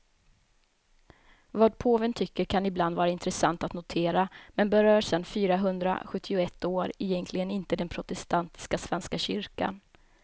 Vad påven tycker kan ibland vara intressant att notera, men berör sen fyrahundrasjuttioett år egentligen inte den protestantiska svenska kyrkan.